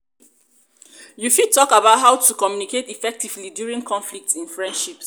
you fit talk about how to communicate effectively during conflicts in friendships.